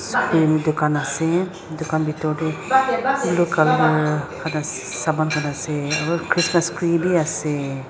tokan asae tokan bitor dae blue colour saman khan asae aro christmas tree bi asae.